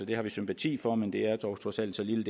det har vi sympati for men det er dog trods alt så lille